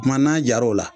Kuma n'a jar'o la